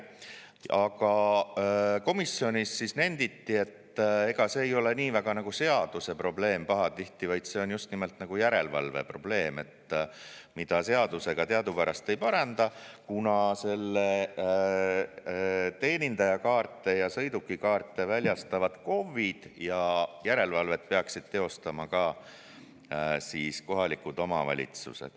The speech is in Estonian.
Aga komisjonis nenditi, et ega see ei ole pahatihti nii väga seaduse probleem, vaid see on just nimelt järelevalve probleem, mida seadusega teadupärast ei paranda, kuna teenindajakaarte ja sõidukikaarte väljastavad KOV-id ja järelevalvet peaksid teostama ka kohalikud omavalitsused.